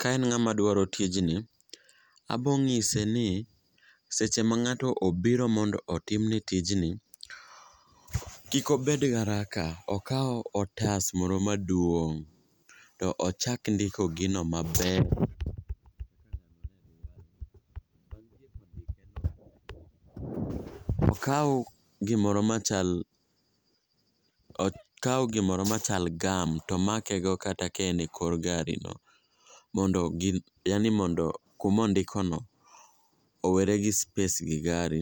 Ka en ng'ama dwaro tijni, abo ng'ise ni seche ma ng'ato obiro mondo otimne tijni, kik obed garaka, okaw otas moro maduong' tochak ndiko gino maber okaw gimoro machal gam tomakego ka en e kor garino mondo kumondikono owere gi space gi gari